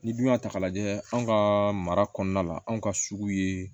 Ni dun y'a ta k'a lajɛ anw ka mara kɔnɔna la anw ka sugu ye